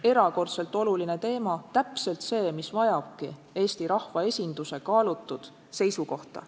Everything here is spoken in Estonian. Erakordselt oluline teema – täpselt see teema, mis vajab Eesti rahvaesinduse kaalutud seisukohta.